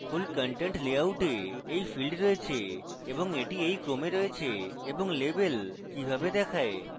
full content লেআউটে এই fields রয়েছে এবং এটি এই ক্রমে রয়েছে এবং label কিভাবে দেখায়